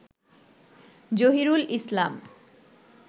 Zahirul Islam